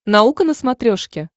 наука на смотрешке